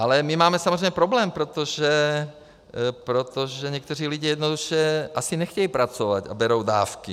Ale my máme samozřejmě problém, protože někteří lidi jednoduše asi nechtějí pracovat a berou dávky.